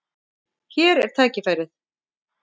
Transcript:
Hér er tækifærið.